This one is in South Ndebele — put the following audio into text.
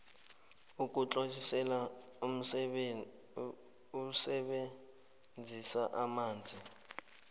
ukutlolisela ukusebenzisa amanzi